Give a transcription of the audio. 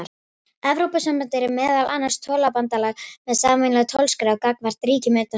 Evrópusambandið er meðal annars tollabandalag með sameiginlega tollskrá gagnvart ríkjum utan þess.